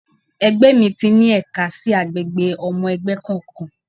Ẹgbẹ́ mi ti ní ẹ̀ka sí àgbègbè ọmọ ẹgbẹ́ kọ̀ọ̀kan.